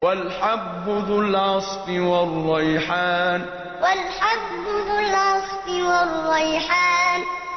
وَالْحَبُّ ذُو الْعَصْفِ وَالرَّيْحَانُ وَالْحَبُّ ذُو الْعَصْفِ وَالرَّيْحَانُ